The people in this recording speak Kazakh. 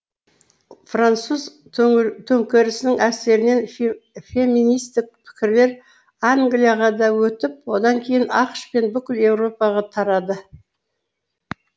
француз төңкерісінің әсерінен феминистік пікірлер англияға да өтіп одан кейін ақш пен бүкіл еуропаға тарады